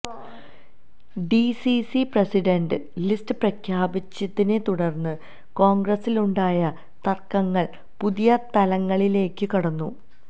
DCC president list പ്രഖ്യാപിച്ചതിനെ തുടര്ന്ന് കോണ്ഗ്രസിലുണ്ടായ തര്ക്കങ്ങള് പുതിയ തലങ്ങളിലേയ്ക്ക് കടന്നു